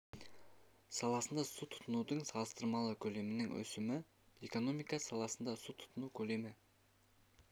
саласында су тұтынудың салыстырмалы көлемінің өсімі экономика саласында су тұтыну көлемі